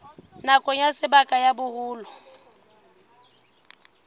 bakeng sa nako ya boholo